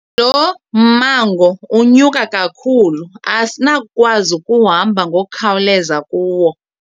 Lo mmango unyuka kakhulu asinakukwazi ukuhamba ngokukhawuleza kuwo.